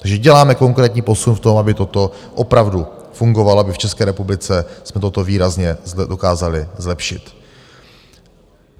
Takže děláme konkrétní posun v tom, aby toto opravdu fungovalo, aby v České republice jsme toto výrazně dokázali zlepšit.